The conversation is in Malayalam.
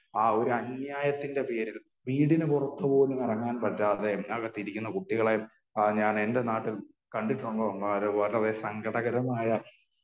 ആ ഒരു അന്യായത്തിന്റെ പേരിൽ വീടിന് പുറത്തു പോലും ഇറങ്ങാൻ പറ്റാതെ അകത്തിരിക്കുന്ന കുട്ടികളെ ഞാൻ എന്റെ നാട്ടിൽ കണ്ടിട്ട് വളരെ സങ്കടകരമായ